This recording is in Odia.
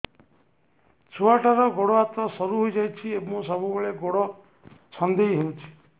ଛୁଆଟାର ଗୋଡ଼ ହାତ ସରୁ ହୋଇଯାଇଛି ଏବଂ ସବୁବେଳେ ଗୋଡ଼ ଛଂଦେଇ ହେଉଛି